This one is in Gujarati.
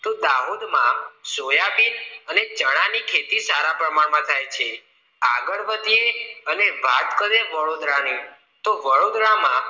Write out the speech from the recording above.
તો દાહોદમાં સોયાબીન અને ચણાની ખેતી સારા પ્રમાણમાં થાય છે આગળ વધી અને વાત કરીએ વડોદરાની તો વડોદરામાં